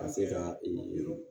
Ka se ka ee